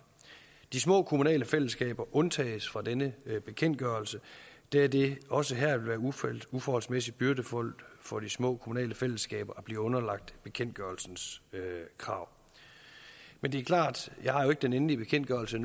de små kommunale fællesskaber undtages fra denne bekendtgørelse da det også her vil være uforholdsmæssig byrdefuldt for de små kommunale fællesskaber at blive underlagt bekendtgørelsens krav men det er klart at jeg har den endelige bekendtgørelse